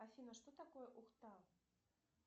афина что такое ухта